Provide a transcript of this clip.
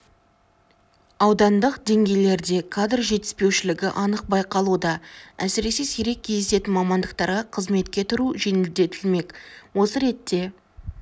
аудандық деңгейлерде кадр жетіспеушілігі анық байқалуда әсіресе сирек кездесетін мамандықтарға қызметке тұру жеңілдетілмек осы ретте